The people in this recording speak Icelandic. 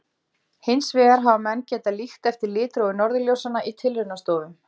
Hins vegar hafa menn getað líkt eftir litrófi norðurljósanna í tilraunastofum.